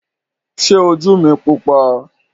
Ṣé ojú mi pupa?